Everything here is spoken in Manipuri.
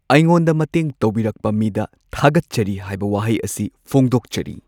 ꯑꯩꯉꯣꯟꯗ ꯃꯇꯦꯡ ꯇꯧꯕꯤꯔꯛꯄ ꯃꯤꯗ ꯊꯥꯒꯠꯆꯔꯤ ꯍꯥꯏꯕ ꯋꯥꯍꯩ ꯑꯁꯤ ꯐꯣꯡꯗꯣꯛꯆꯔꯤ꯫